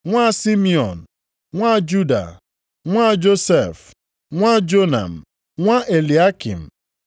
nwa Simiọn, nwa Juda, nwa Josef, nwa Jonam, nwa Eliakịm;